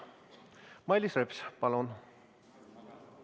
Mailis Reps, palun!